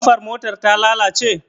Bamfar motar ta lalace?